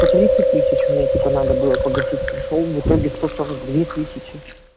по тридцать тысяч мне типа надо было погасить пришёл в итоге сто сорок две тысячи